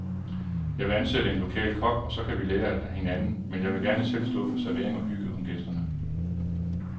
Jeg vil ansætte en lokal kok, og så kan vi lære af hinanden, men jeg vil gerne selv stå for servering og hygge om gæsterne.